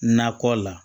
Nakɔ la